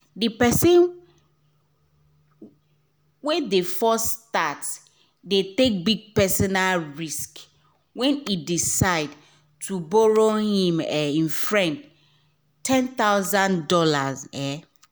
d person wey de first start de take big personal risk when e decide to borrow him um friend one thousand dollars0 um